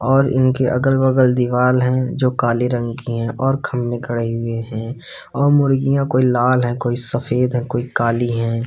और इनके अगल-बगल दीवाल हैं जो काले रंग के हैं और खंभे खड़े हुये हैं और मुर्गियों कोई लाल हैं कोई सफेद है कोई काली हैं।